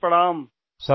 Dinesh Upadhyay جی